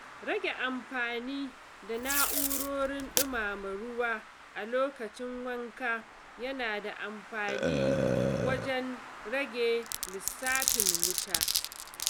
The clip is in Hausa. Rage amfani da na’urorin ɗumama ruwa a lokacin wanka yana da amfani wajen rage lissafin wuta.